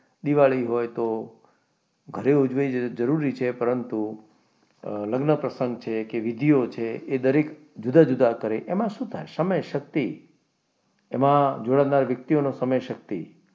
દિવાળી હોય તો ઘરે ઉજવવી જરૂરી છે પરંતુ લગ્ન પ્રસંગો છે કે વિધિયો છે તે જુદા જુદા કાર્ય તેમાં શું થાય છે સમય શક્તિ એમાં જોડાનાર વ્યક્તિઓનો સમય શક્તિ,